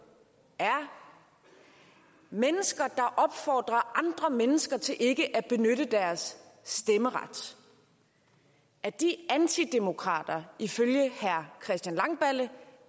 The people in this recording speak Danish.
er mennesker der opfordrer andre mennesker til ikke at benytte deres stemmeret er de antidemokrater ifølge herre christian langballe